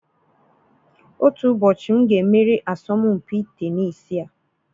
Otu ụbọchị, m ga-emeri asọmpi tenisii a.